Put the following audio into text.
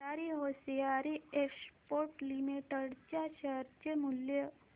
Bhandari hosiery exports limited च्या share चे मूल्य